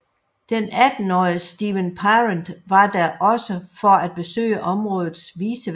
Den attenårige Steven Parent var der også for at besøge områdets vicevært